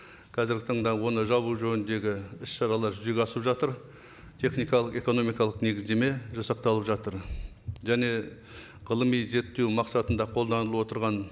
қазіргі таңда оны жабу жөніндегі іс шаралар жүзеге асырылып жатыр техникалық экономикалық негіздеме жасақталып жатыр және ғылыми зерттеу мақсатында қолданылып отырған